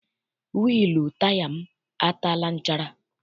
Wịịlụ taya m ataala nchara.